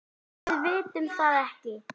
Við vitum það ekki.